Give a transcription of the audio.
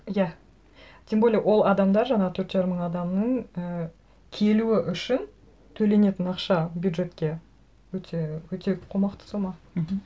иә тем более ол адамдар жаңа төрт жарым мың адамның і келуі үшін төленетін ақша бюджетке өте өте қомақты сома мхм